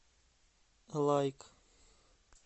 лайк